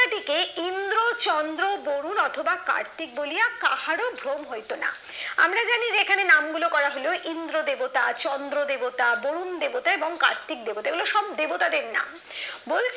টিকে ইন্দ্র চন্দ্র বরুণ অথবা কার্তিক বলিয়া কাহারো ভ্রম হইতো না আমরা জানি যে এখানে নামগুলো করা হলো ইন্দ্র দেবতা চন্দ্র দেবতা বরুন দেবতা এবং কার্তিক দেবতা এগুলো সব দেব তাদের নাম বলছে